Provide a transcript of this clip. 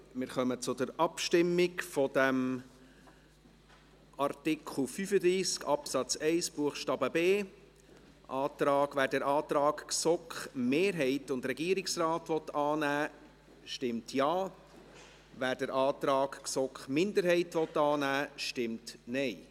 Wir kommen zur Abstimmung über Artikel 35 Absatz 1 Buchstabe b. Wer den Antrag GSoK-Mehrheit und Regierungsrat annehmen will, stimmt Ja, wer den Antrag GSoK-Minderheit annehmen will, stimmt Nein.